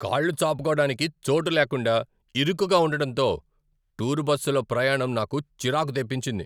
కాళ్లు చాపుకోడానికి చోటు లేకుండా, ఇరుకుగా ఉండటంతో, టూర్ బస్సులో ప్రయాణం నాకు చిరాకు తెప్పించింది.